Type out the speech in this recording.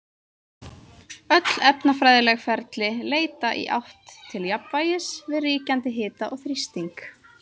Öll efnafræðileg ferli leita í átt til jafnvægis við ríkjandi hita og þrýsting.